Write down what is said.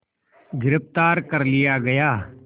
गिरफ़्तार कर लिया गया